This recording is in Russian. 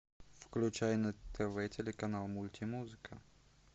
включай на тв телеканал мультимузыка